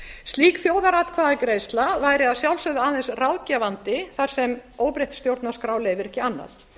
slík þjóðaratkvæðagreiðsla væri að sjálfsögðu aðeins ráðgefandi þar sem óbreytt stjórnarskrá leyfir ekki annað